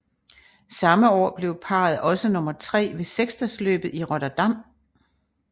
Samme år blev parret også nummer tre ved seksdagesløbet i Rotterdam